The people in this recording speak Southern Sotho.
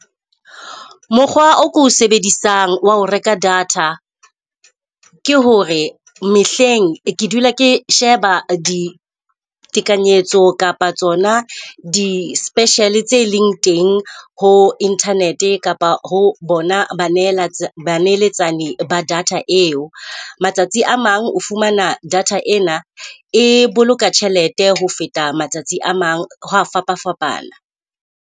Mokgwa o ko o sebedisang wa ho reka data ke hore mehleng ke dula ke sheba ditekanyetso kapa tsona di-special tse leng teng ho internet kapa ho bona ba ho ba neletsani ba data eo. Matsatsi a mang o fumana data ena e boloka tjhelete ho feta matsatsi a mang ho a fapafapana.